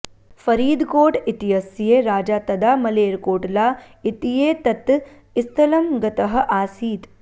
फरीदकोट इत्यस्य राजा तदा मलेरकोटला इत्येतत् स्थलं गतः आसीत्